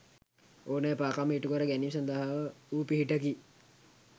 ඕනෑ එපාකම් ඉටුකර ගැනීම සඳහා වූ පිහිටකි.